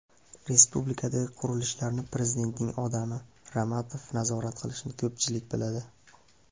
Respublikadagi qurilishlarni prezidentning odami Ramatov nazorat qilishini ko‘pchilik biladi.